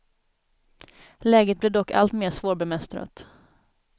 Läget blev dock allt mer svårbemästrat.